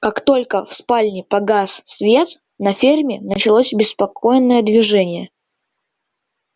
как только в спальне погас свет на ферме началось беспокойное движение